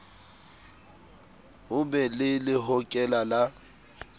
ho be le lehokela le